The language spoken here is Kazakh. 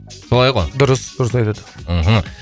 солай ғой дұрыс дұрыс айтады мхм